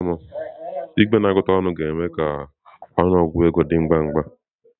Igwe na-agụta ọnụ ga-eme ka ọnụ ọgụgụ ego dị ngwa ngwa.